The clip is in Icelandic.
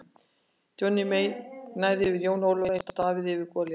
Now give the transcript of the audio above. Johnny Mate gnæfði yfir Jóni Ólafi eins og Davíð yfir Golíat.